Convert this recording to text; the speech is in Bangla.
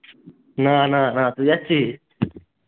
না না না তুই আসছিস?